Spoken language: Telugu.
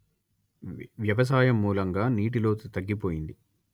వ్యవసాయం మూలంగా నీటి లోతు తగ్గిపోయింది